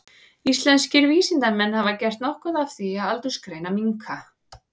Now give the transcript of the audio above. Íslenskir vísindamenn hafa gert nokkuð af því að aldursgreina minka.